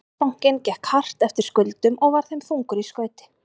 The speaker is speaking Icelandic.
Landsbankinn gekk hart eftir skuldum og var þeim þungur í skauti.